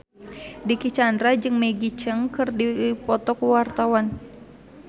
Dicky Chandra jeung Maggie Cheung keur dipoto ku wartawan